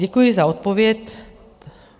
Děkuji za odpověď.